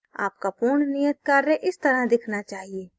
आपका पूर्ण नियत कार्य इस तरह दिखना चाहिए